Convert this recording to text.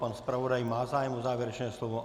Pan zpravodaj má zájem o závěrečné slovo?